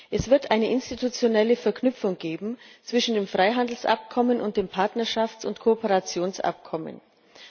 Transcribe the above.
Es wird eine institutionelle Verknüpfung zwischen dem Freihandelsabkommen und dem Partnerschafts und Kooperationsabkommen geben.